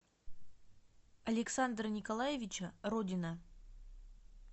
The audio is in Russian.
александра николаевича родина